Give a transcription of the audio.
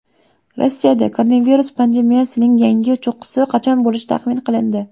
Rossiyada koronavirus pandemiyasining yangi cho‘qqisi qachon bo‘lishi taxmin qilindi.